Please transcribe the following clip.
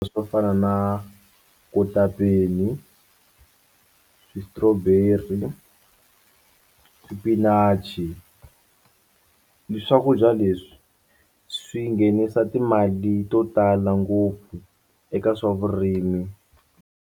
Swo fana na kotapeni strawberry, xipinachi swakudya leswi swi nghenisa timali to tala ngopfu eka swa vurimi.